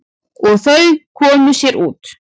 Og þau komu sér út.